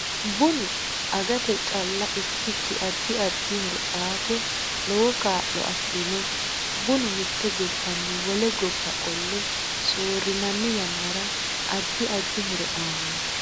Binu aggate calla ikkiki addi addi horo aate lowo kaa'lo afirinno bunu mitte gobbanni wole gobba qolle soorinanni yannara addi addi horo aanno